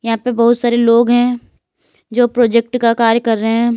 यहां पे बहुत सारे लोग हैं जो प्रोजेक्ट का कार्य कर रहे हैं।